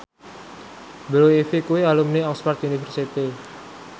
Blue Ivy kuwi alumni Oxford university